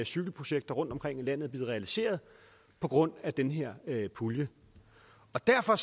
cykelprojekter rundtomkring i landet er blevet realiseret på grund af den her her pulje derfor